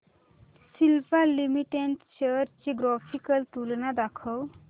Cipla limited shares ची graphical तुलना दाखव